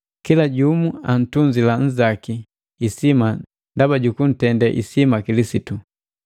Kila jumu antunzila nnzaki isima ndaba jukuntendee isima Kilisitu.